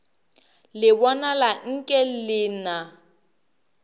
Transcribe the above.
le bonala nke le na